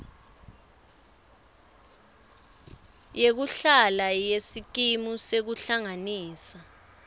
yekuhlala yesikimu sekuhlanganisa